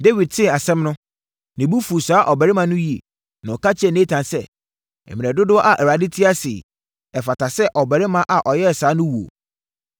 Dawid tee asɛm no, ne bo fuu saa ɔbarima no yie, na ɔka kyerɛɛ Natan sɛ, “Mmerɛ dodoɔ a Awurade te ase yi, ɛfata sɛ ɔbarima a ɔyɛɛ saa no wuo.